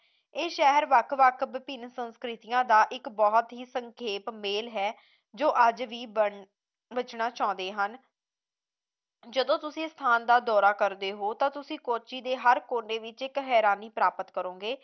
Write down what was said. ਇਹ ਸ਼ਹਿਰ ਵੱਖ ਵੱਖ ਵਿਭਿੰਨ ਸੰਸਕ੍ਰਿਤੀਆਂ ਦਾ ਇੱਕ ਬਹੁਤ ਹੀ ਸੰਖੇਪ ਮੇਲ ਹੈ ਜੋ ਅੱਜ ਵੀ ਬਚਣਾ ਚਾਹੁੰਦੇ ਹਨ ਜਦੋਂ ਤੁਸੀਂ ਇਸ ਸਟਾਂ ਦਾ ਦੌਰਾ ਕਰਦੇ ਹੋ ਤਾਂ ਤੁਸੀਂ ਕਾਚੇ ਦੇ ਹਰ ਕੋਨੇ ਵਿੱਚ ਇੱਕ ਹੈਰਾਨੀ ਪ੍ਰਾਪਤ ਕਰੋਗੇ